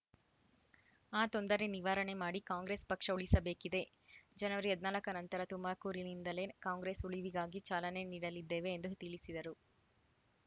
ಆ ತೊಂದರೆ ನಿವಾರಣೆ ಮಾಡಿ ಕಾಂಗ್ರೆಸ್‌ ಪಕ್ಷ ಉಳಿಸಬೇಕಿದೆ ಜನವರಿ ಹದಿನಾಲ್ಕ ನಂತರ ತುಮಾಕೂರಿನಿಂದಲೇ ಕಾಂಗ್ರೆಸ್‌ ಉಳಿವಿಗಾಗಿ ಚಾಲನೆ ನೀಡಲಿದ್ದೇವೆ ಎಂದು ತಿಳಿಸಿದರು